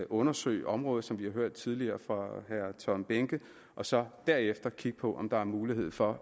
undersøge området som vi har hørt tidligere fra herre tom behnke og så derefter kigge på om der er mulighed for